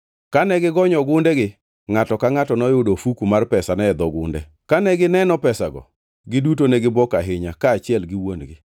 Kane gigonyo ogundegi, ngʼato ka ngʼato noyudo ofuku mar pesane e dho gunde! Kane gineno pesago, giduto ne gibuok ahinya kaachiel gi wuon-gi.